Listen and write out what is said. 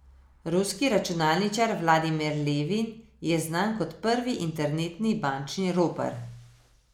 Ruski računalničar Vladimir Levin je znan kot prvi internetni bančni ropar.